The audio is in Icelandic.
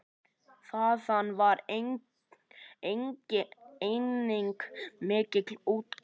Þaðan var einnig mikil útgerð.